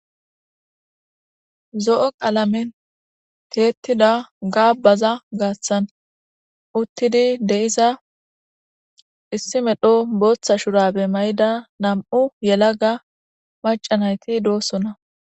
Zo7o qalamen tiyettiza gaabbaza gaathan uttidi de7iza issi medho bootha shuraabe mayida nam7u yalaga macca nayti doosona.